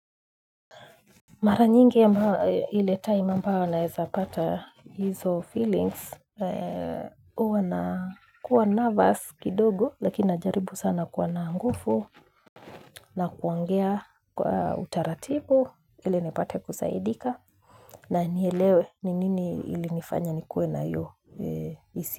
Mara nyingi ama ile time ambao naezapata hizo feelings, uwa na kuwa nervous kidogo, lakini najaribu sana kuwa na ngufu, na kuongea kwa utaratibu, ili nipate kusaidika, na nielewe ni nini ilinifanya ni kuwe na iyo hisia.